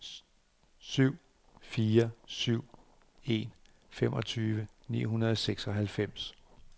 syv fire syv en femogtyve ni hundrede og seksoghalvfems